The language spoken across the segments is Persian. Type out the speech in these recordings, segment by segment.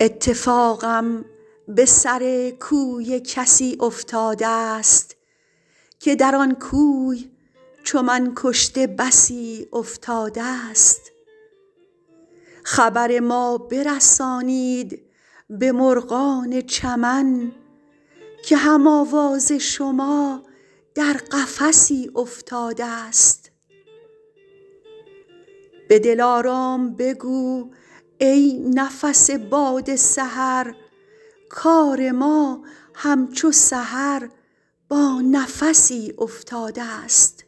اتفاقم به سر کوی کسی افتاده ست که در آن کوی چو من کشته بسی افتاده ست خبر ما برسانید به مرغان چمن که هم آواز شما در قفسی افتاده ست به دلارام بگو ای نفس باد سحر کار ما همچو سحر با نفسی افتاده ست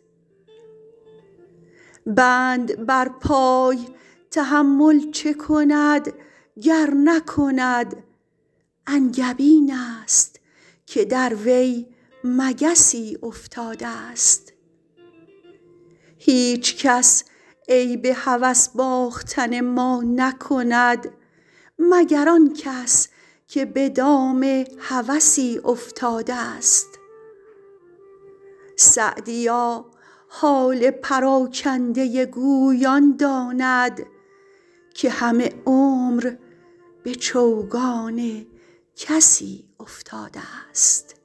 بند بر پای تحمل چه کند گر نکند انگبین است که در وی مگسی افتاده ست هیچکس عیب هوس باختن ما نکند مگر آن کس که به دام هوسی افتاده ست سعدیا حال پراکنده گوی آن داند که همه عمر به چوگان کسی افتاده ست